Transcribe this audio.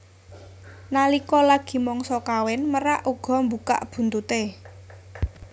Nalika lagi mangsa kawin merak uga mbukak buntuté